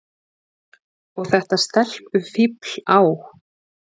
Og þetta stelpufífl á